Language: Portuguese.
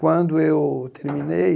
Quando eu terminei,